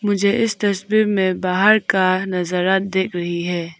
मुझे इस तस्वीर में बाहर का नजारा दिख रही है।